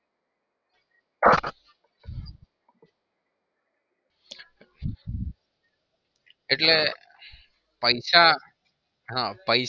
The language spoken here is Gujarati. એટલે પૈસા હા